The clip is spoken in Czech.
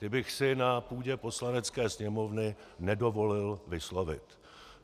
Ty bych si na půdě Poslanecké sněmovny nedovolil vyslovit.